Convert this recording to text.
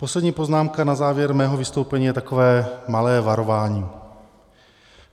Poslední poznámka na závěr mého vystoupení je takové malé varování.